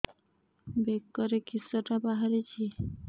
ବେକରେ କିଶଟା ବାହାରିଛି